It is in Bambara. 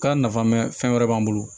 Ka nafa mɛn fɛn wɛrɛ b'an bolo